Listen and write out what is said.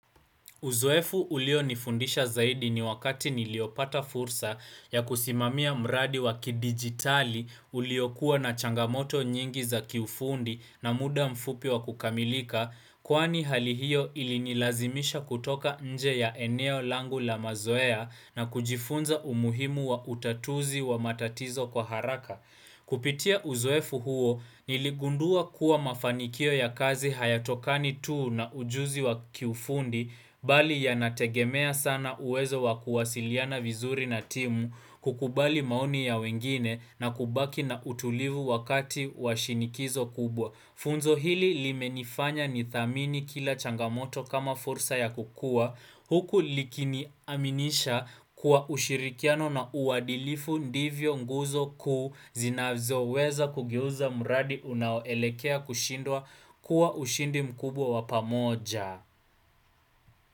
Uzoefu ulio nifundisha zaidi ni wakati niliopata fursa ya kusimamia mradi waki digitali ulio kuwa na changamoto nyingi za kiufundi na muda mfupi wa kukamilika, kuani hali hiyo ilinilazimisha kutoka nje ya eneo langu la mazoea na kujifunza umuhimu wa utatuzi wa matatizo kwa haraka. Kupitia uzoefu huo niligundua kuwa mafanikio ya kazi hayatokani tuu na ujuzi wa kiufundi bali ya nategemea sana uwezo wa kuwasiliana vizuri na timu kukubali maoni ya wengine na kubaki na utulivu wakati wa shinikizo kubwa. Funzo hili limenifanya nithamini kila changamoto kama fursa ya kukua huku likini aminisha kuwa ushirikiano na uwadilifu ndivyo nguzo ku zinazo weza kugiuza muradi unaoelekea kushindwa kuwa ushindi mkubwa wapamoja.